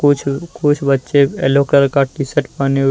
कुछ कुछ बच्चे यलो कलर का टी शर्ट पहने हुए--